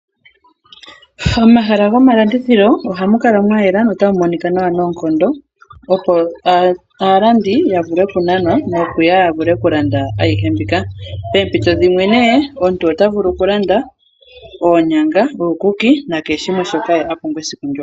Momahala gomalandithilo ohamu kala mwa yela notamu monika nawa noonkondo, opo aalandi ya vule okunanwa nokuya ya vule okulanda ayihe mbika. Poompito dhimwe omuntu ota vulu okulanda oonyanga, uukuki nakehe shimwe shoka a pumbwa esiku ndyoka.